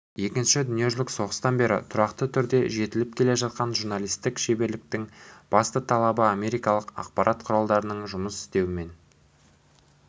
екінші дүниежүзілік соғыстан бері тұрақты түрде жетіліп келе жатқан журналистік шеберліктің басты талабы америкалық ақпарат құралдарында жұмыс істеумен